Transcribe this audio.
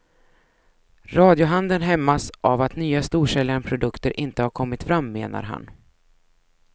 Radiohandeln hämmas av att nya storsäljande produkter inte har kommit fram, menar han.